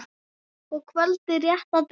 og kvöldið rétt að byrja!